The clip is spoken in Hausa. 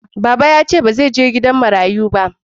Baba ya ce ba zai je gidan marayu